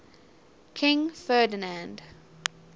king ferdinand